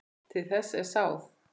Til þess er sáð.